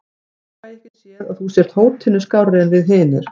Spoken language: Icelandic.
Ég fæ ekki séð að þú sért hótinu skárri en við hinir.